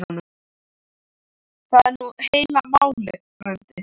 Það er nú heila málið frændi.